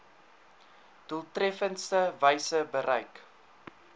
doeltreffendste wyse bereik